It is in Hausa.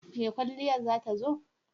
Mai kwalliyar za ta zo?